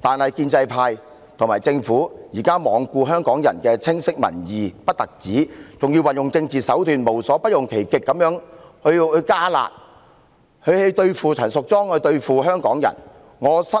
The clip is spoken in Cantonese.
但現時建制派和政府不但罔顧香港人清晰的民意，還要利用政治手段，無所不用其極地"加辣"，對付陳淑莊議員和香港人，我對此甚感失望。